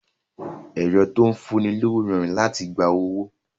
Ẹ̀rọ tó ń fún ni lówó rọrùn láti gba owó